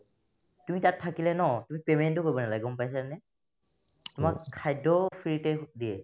তুমি তাত থাকিলে ন তুমি payment ও কৰিব নালাগে গম পাইছানে তোমাক খাদ্যও free তে দিয়ে